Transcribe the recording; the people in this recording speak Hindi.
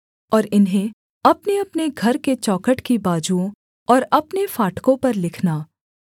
और इन्हें अपनेअपने घर के चौखट की बाजुओं और अपने फाटकों पर लिखना